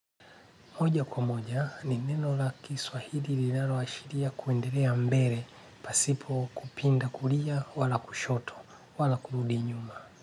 Moja kwa moja ni neno la kiswahili linalo ashiria kuendelea mbele pasipo kupinda kulia wala kushoto wala kurudi nyuma.